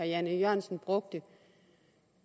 jan e jørgensen brugte